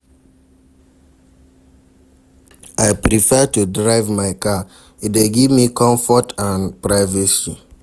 I prefer to drive my car, e dey give me comfort and privacy.